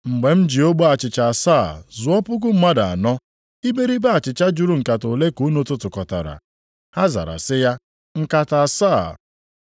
“Mgbe m ji ogbe achịcha asaa zụọ puku mmadụ anọ, iberibe achịcha juru nkata ole ka unu tụtụkọtara?” Ha zara sị ya, “Nkata asaa.”